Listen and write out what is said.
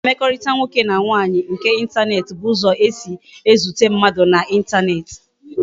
Mkpakọrịta nwoke na nwaanyị nke intaneti bụ ụzọ esi e zute mmadụ na intaneti